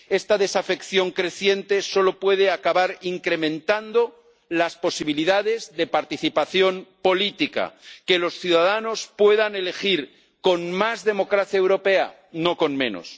Esta desafección creciente solo puede acabar si se incrementan las posibilidades de participación política que los ciudadanos puedan elegir con más democracia europea, no con menos.